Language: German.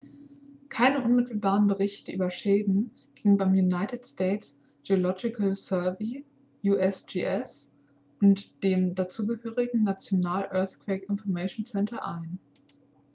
keine unmittelbaren berichte über schäden gingen beim united states geological survey usgs und dem dazugehörigen national earthquake information center ein